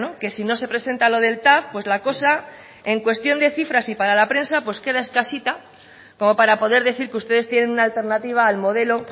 que si no se presenta lo del tav pues la cosa en cuestión de cifras y para la prensa pues queda escasita como para poder decir que ustedes tienen una alternativa al modelo